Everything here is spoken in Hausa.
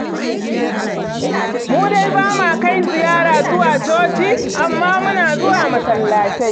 Mu dai ba ma kai ziyara zuwa coci, amma dai muna zuwa masallatai.